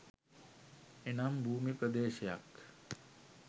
එනම් භූමි ප්‍රදේශයක්